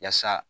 Yaasa